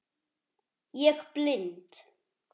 Ég blind